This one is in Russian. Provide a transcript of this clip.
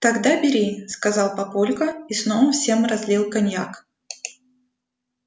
тогда бери сказал папулька и снова всем разлил коньяк